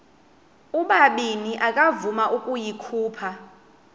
ubabini akavuma ukuyikhupha